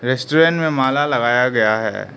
Restaurant में माला लगाया गया है।